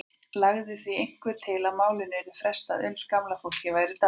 Lagði því einhver til að málinu yrði frestað uns gamla fólkið væri dáið.